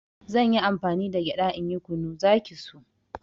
Zanyi amfani da gyaɗa in yi kunu, zaki so